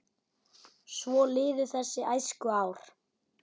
Svo liðu þessi æskuár.